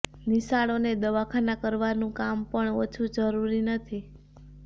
નિશાળો ને દવાખાના કરવાનું કામ પણ ઓછું જરૂરી નથી